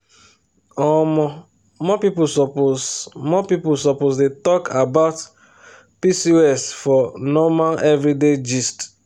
omo more people suppose more people suppose dey talk about pcos for normal everyday gist.